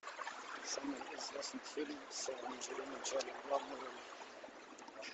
самый известный фильм с анджелиной джоли в главной роли